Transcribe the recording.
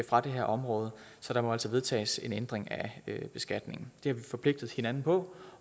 fra det her område så der må altså vedtages en ændring af beskatningen det har vi forpligtet hinanden på